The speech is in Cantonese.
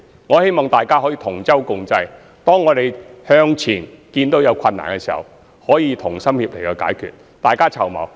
我希望大家可以同舟共濟，當我們看到前面有困難時，能夠同心協力去解決，大家一起籌謀。